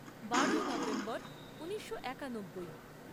বারোই নভেম্বর ঊনিশো একানব্বই